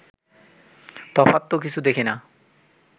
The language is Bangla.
তফাৎ তো কিছু দেখি না